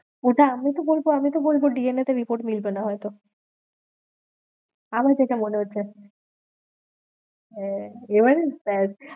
ওটা আমি তো বলবো, আমি তো বলবো DNA তে report মিলবে না হয়তো আমার যেটা মনে হচ্ছে হ্যাঁ, এবারে দেখ।